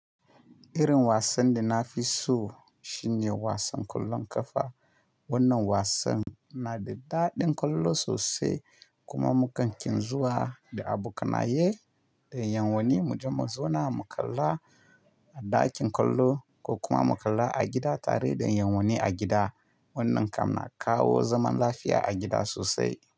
Irin wasan da na fi so shine wasan ƙwallon ƙafa. Wannan wasan na da daɗin ƙwallo sosai kuma mukakin zuwa da abokanaye da 'yan wani. Mu je muzona mu kalla a ɗakin ƙwallo ko kuma mu kalla a gida tare da 'yan wani a gida. Wannan kam na kawo zaman lafiya a gida sosai.